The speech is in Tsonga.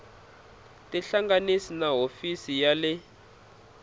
tihlanganise na hofisi ya le